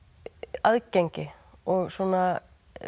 aðgengi og svona